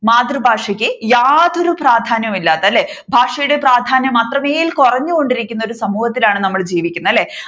മാതൃഭാഷക്ക് യാതൊരു പ്രാധ്യാനവും ഇല്ലാത്ത അല്ലെ ഭാഷയുടെ പ്രാധ്യാനം അത്രമേൽ കുറഞ്ഞുകൊണ്ടിരിക്കുന്ന സമൂഹത്തിലാണ് നമ്മൾ ജീവിക്കുന്നത് അല്ലെ